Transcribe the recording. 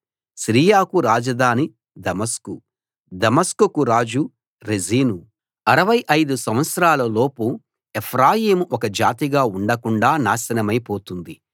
సిరియాకు రాజధాని దమస్కు దమస్కుకు రాజు రెజీను అరవై ఐదు సంవత్సరాల లోపు ఎఫ్రాయిము ఒక జాతిగా ఉండకుండా నాశనమై పోతుంది